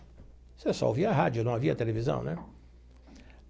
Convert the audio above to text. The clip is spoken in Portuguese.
Você só ouvia rádio, não havia televisão, né?